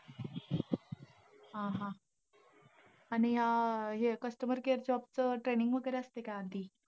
हा हा. आणि अं हे customer care job चं training वगैरे असतंय का असं?